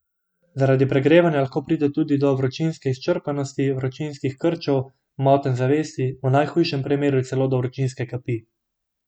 Zaradi pregrevanja lahko pride tudi do vročinske izčrpanosti, vročinskih krčev, motenj zavesti, v najhujšem primeru celo do vročinske kapi.